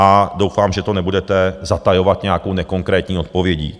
A doufám, že to nebudete zatajovat nějakou nekonkrétní odpovědí.